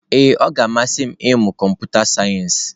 Ee ọ ga-amasị m ịmụ kọmputa sayensị.